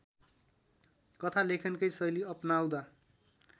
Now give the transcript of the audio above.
कथालेखनकै शैली अपनाउँदा